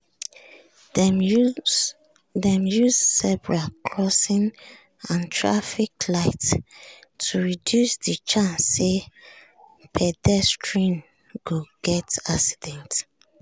dem use zebra crossing and traffic light to reduce the chance say pedestrian go get accident.